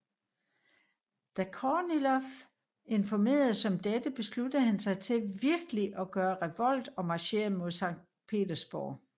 Da Kornilov informeredes om dette besluttede han sig til virkeligt at gøre revolt og marcherede mod Sankt Petersburg